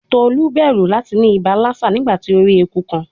Tolu bẹru lati ni iba Lassa nigbati o ri eku kan